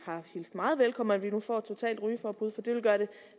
meget velkommen at vi nu får et totalt rygeforbud for det vil gøre det